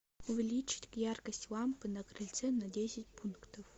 увеличить яркость лампы на крыльце на десять пунктов